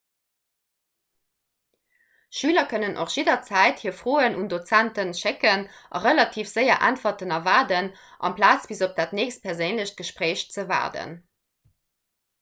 schüler kënnen och jidderzäit hir froen un dozenten schécken a relativ séier äntwerten erwaarden amplaz bis op dat nächst perséinlecht gespréich ze waarden